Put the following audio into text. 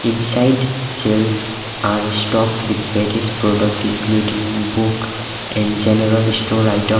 inside sales are stocked with various product including book and general store item.